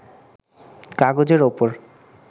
কাগজের ওপর